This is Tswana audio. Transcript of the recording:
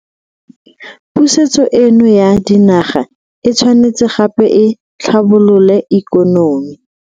Pusetso eno ya dinaga e tshwanetse gape e tlhabolole ikonomi.